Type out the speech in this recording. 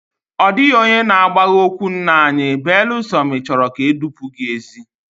Ọ dịghị onye na agbagha ókwú nna anyi beelụ sọ na ị chọrọ ka edupu gị ézi